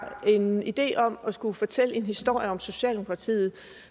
en idé om at skulle fortælle en historie om socialdemokratiet